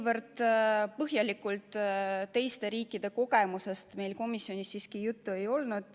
Nii põhjalikult meil teiste riikide kogemustest komisjonis juttu ei olnud.